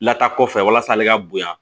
Lataa kɔfɛ walasa ale ka bonya